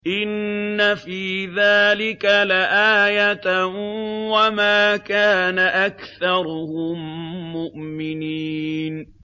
إِنَّ فِي ذَٰلِكَ لَآيَةً ۖ وَمَا كَانَ أَكْثَرُهُم مُّؤْمِنِينَ